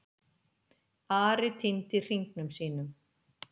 Ari týndi hringnum sínum.